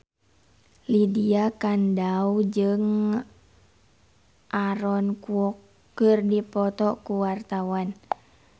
Lydia Kandou jeung Aaron Kwok keur dipoto ku wartawan